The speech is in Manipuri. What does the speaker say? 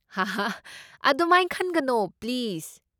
ꯍꯥꯍꯥ ꯑꯗꯨꯃꯥꯏꯅ ꯈꯟꯒꯅꯣ, ꯄ꯭ꯂꯤꯁ꯫